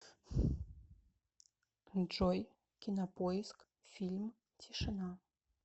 джой кинопоиск фильм тишина